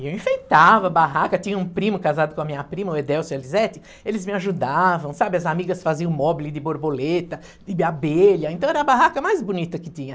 E eu enfeitava a barraca, tinha um primo casado com a minha prima, o Edelcio e a Lizete, eles me ajudavam, sabe, as amigas faziam móbile de borboleta, de abelha, então era a barraca mais bonita que tinha.